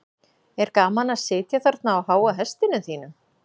er gaman að sitja þarna á háa hestinum þínum